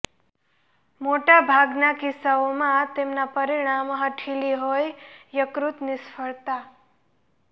મોટા ભાગના કિસ્સાઓમાં તેમના પરિણામ હઠીલી હોય યકૃત નિષ્ફળતા